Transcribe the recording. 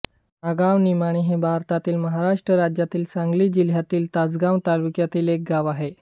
नागावनिमाणी हे भारतातील महाराष्ट्र राज्यातील सांगली जिल्ह्यातील तासगांव तालुक्यातील एक गाव आहे